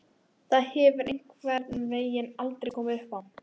Það hefur einhvern veginn aldrei komið uppá.